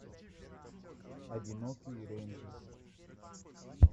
одинокий рейнджер